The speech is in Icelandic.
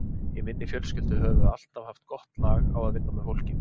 Í minni fjölskyldu höfum við alltaf haft gott lag á að vinna með fólki.